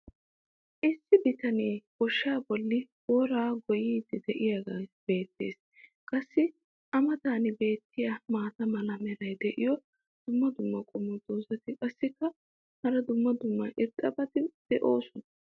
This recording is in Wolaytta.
issi bitanee goshshaa bolli booraa goyiiddi diyaagee beettees. qassi a matan beettiya maata mala meray diyo dumma dumma qommo dozzati qassikka hara dumma dumma irxxabati doosona.